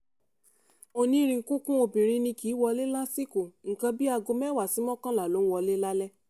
onínríkunkun obìnrin ni kì í wọlé lásìkò nǹkan bíi aago mẹ́wàá sí mọ́kànlá ló máa ń wọlé lálaalẹ́